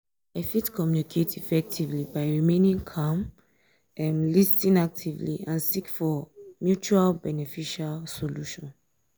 i fit um communicate effectively by remaining calm um lis ten actively and seek for um mutual beneficial solution.